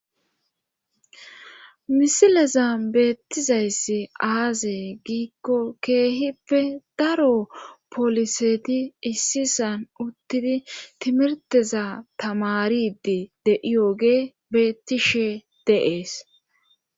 misileza beettizayssi aazee giikko keehippe daro poliseti issisan uttidi timirteza tamaridi de7iyooge beettishe deees